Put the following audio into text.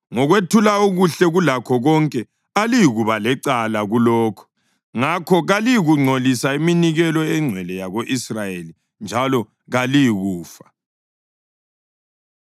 Ngokwethula okuhle kulakho konke aliyikuba lecala kulokho; ngakho kaliyikungcolisa iminikelo engcwele yako-Israyeli, njalo kaliyikufa.’ ”